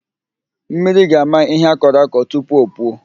Mmiri ga-ama ihe akọrọ akọ tupu o puo.